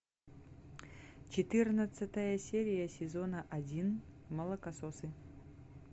четырнадцатая серия сезона один молокососы